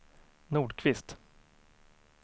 Nordqvist